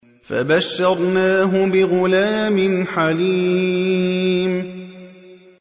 فَبَشَّرْنَاهُ بِغُلَامٍ حَلِيمٍ